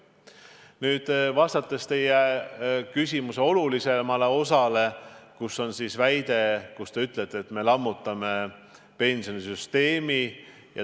Nüüd aga teie küsimuse olulisem osa, kus kõlas väide, et me lammutame pensionisüsteemi.